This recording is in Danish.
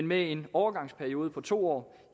med en overgangsperiode på to år